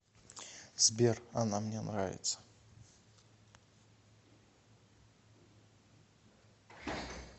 сбер она мне нравится